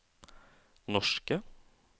norske